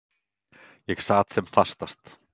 Ég sat sem fastast.